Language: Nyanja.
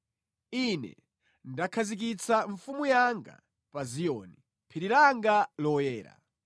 “Ine ndakhazikitsa mfumu yanga pa Ziyoni, phiri langa loyera.”